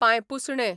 पांयपुसणें